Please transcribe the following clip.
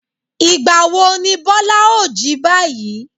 Ìgbà wo ni Bọ́lá ó jí báyìí?